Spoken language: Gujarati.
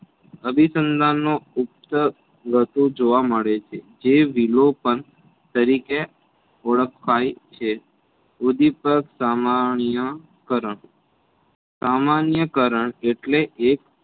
અભીસંધાનનો ઉપ્ત રાઠો જોવા મળે છે જે વિલોપન તરિકે ઓળખાય છે. ઉંધીપગ સમણીય કરણ સામાન્ય કરણ એટલે એ